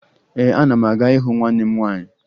Ee, ana m aga ịhụ nwanne m nwaanyị